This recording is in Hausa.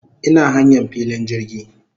Ina hanyan filin jirgi